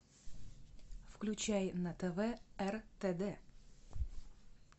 включай на тв ртд